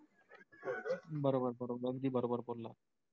बरोबर बरोबर अगदी बरोबर बोललात.